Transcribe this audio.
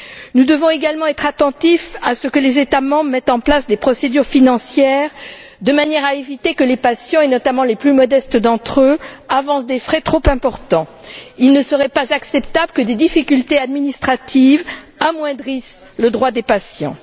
Nous devons également être attentifs à ce que les États membres mettent en place des procédures financières de manière à éviter que les patients, et notamment les plus modestes d'entre eux, avancent des frais trop importants. Il ne serait pas acceptable que des difficultés administratives amoindrissent les droits des patients.